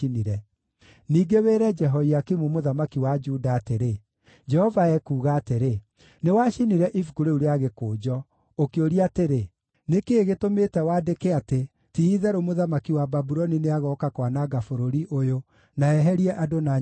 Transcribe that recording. Ningĩ wĩre Jehoiakimu mũthamaki wa Juda atĩrĩ, ‘Jehova ekuuga atĩrĩ: Nĩwacinire ibuku rĩu rĩa gĩkũnjo, ũkĩũria atĩrĩ, “Nĩ kĩĩ gĩtũmĩte wandĩke atĩ, ti-itherũ mũthamaki wa Babuloni nĩagooka kwananga bũrũri ũyũ na eherie andũ na nyamũ kuo?”